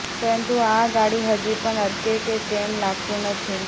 પરંતુ આ ગાડી હજી પણ અટકે કે તેમ લાગતું નથી